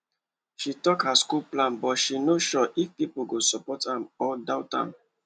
she talk her school plan but she no sure if people go support am or doubt am